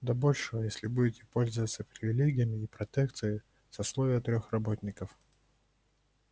до большего если будете пользоваться привилегиями и протекцией сословия техработников